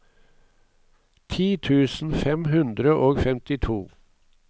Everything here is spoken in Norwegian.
ti tusen fem hundre og femtito